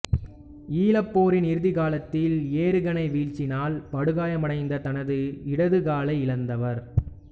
ஈழப்போரின் இறுதிக் காலத்தில் எறிகணை வீச்சினால் படுகாயமடைந்து தனது இடது காலை இழந்தவர்